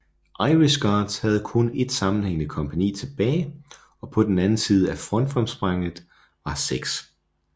Irish Guards havde kun et sammenhængene kompagni tilbage og på den anden side af frontfremspringet var 6